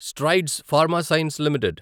strides Pharma Science limited